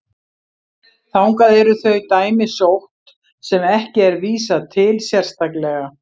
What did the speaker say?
Þangað eru þau dæmi sótt sem ekki er vísað til sérstaklega.